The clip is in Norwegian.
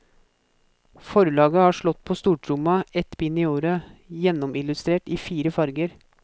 Forlaget har slått på stortromma, ett bind i året, gjennomillustrert i fire farger.